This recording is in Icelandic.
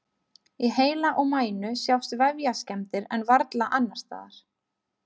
Í heila og mænu sjást vefjaskemmdir en varla annars staðar.